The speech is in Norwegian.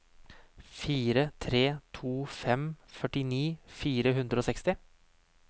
fire tre to fem førtini fire hundre og seksti